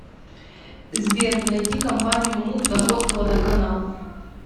сбер найди компанию муп находка водоканал